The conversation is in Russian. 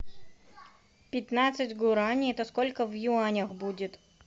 пятнадцать гуарани это сколько в юанях будет